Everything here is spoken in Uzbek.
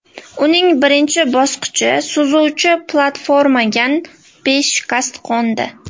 Uning birinchi bosqichi suzuvchi platformagan beshikast qo‘ndi.